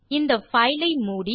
இந்த பைல் ஐ மூடி